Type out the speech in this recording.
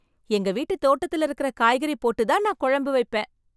எங்க வீட்டு தோட்டத்தில் இருக்கிற காய்கறி போட்டு தான் நான் குழம்பு வைப்பேன்